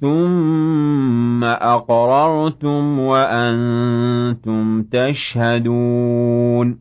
ثُمَّ أَقْرَرْتُمْ وَأَنتُمْ تَشْهَدُونَ